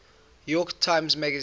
york times magazine